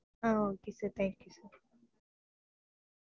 ah okay sir thank you sir